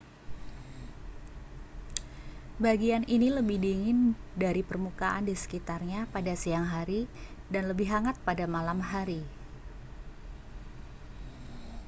bagian ini lebih dingin dari permukaan di sekitarnya pada siang hari dan lebih hangat pada malam hari